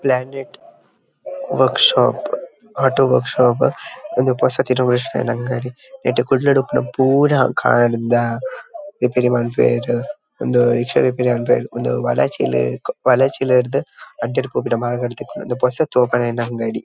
Planet workshop auto workshop ಇಂದು ಪೊಸತ್ innovation ಆಯಿನ ಅಂಗಡಿ ನೆಟ್ ಕುಡ್ಲಡ್ ಉಪ್ಪುನ ಪೂರ ಕಾರ್ ದ ರಿಪೇರಿ ಮನ್ಪುವೆರ್ ಇಂದು ರಿಕ್ಷಾ ಮನ್ಪುವೆರ್ ಇಂದು ವಳಚ್ಚಿಲ್ ವಳಚ್ಚಿಲ್ ರ್ದ್ ಅಡ್ಯಾರ್ ಪೋಪಿನ ಮಾರ್ಗಡ್ ತಿಕ್ಕುಂಡು ಇಂದು ಪೊಸತ್ತ್ ಓಪನ್ ಆಯಿನ ಅಂಗಡಿ.